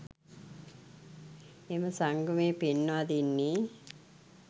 එම සංගමය පෙන්වා දෙන්නේ